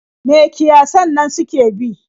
Me kiyasan nan suke bi?